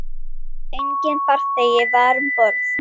Enginn farþegi var um borð.